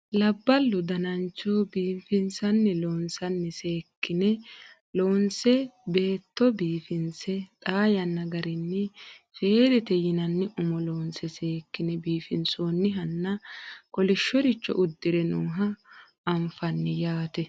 labballu danancho biifinsanni loosinni seekkine loonse beetto biifinse xaa yanna garinni feedete yinanni umo loonse seekkine biifinsoonnihanna kolishshoricho uddire nooha anfanni yaate